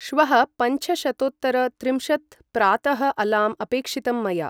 श्वः पंछशतोत्तर त्रिंशत् प्रातः अलार्म् अपेक्षितं मया